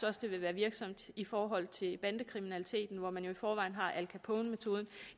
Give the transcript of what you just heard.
også det vil være virksomt i forhold til bandekriminaliteten hvor man i forvejen har al capone metoden